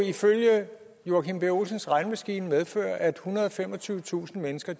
ifølge herre joachim b olsens regnemaskine medføre at ethundrede og femogtyvetusind mennesker